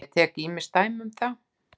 Ég tek ýmis dæmi um það.